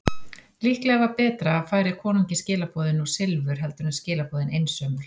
Líklega var betra að færa konungi skilaboðin og silfur heldur en skilaboðin einsömul.